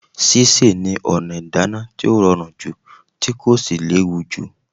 Sísè ni ọ̀nà ìdáná tí ó rọrùn jù tí kò sì léwù jù.